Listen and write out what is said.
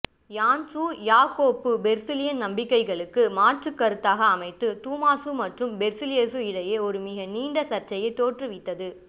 இயான்சு Jacob பெர்சிலியசின் நம்பிக்கைகளுக்கு மாற்றுக் கருத்தாக அமைந்து தூமாசு மற்றும் பெர்சிலியசு இடையே ஒரு மிகநீண்ட சர்ச்சையை தோற்றுவித்தது